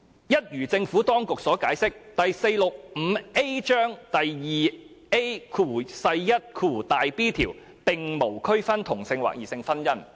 一如政府當局所解釋，第 465A 章第 2AiB 條並無區分同性或異性婚姻。